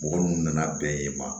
Mɔgɔ minnu nana bɛn yen ma